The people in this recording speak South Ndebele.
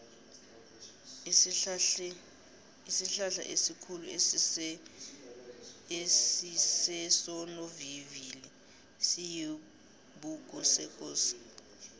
isihlahlaesikhulu esisesonovivili siyisibhukusekosi